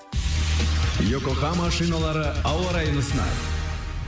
йокогама шиналары ауа райын ұсынады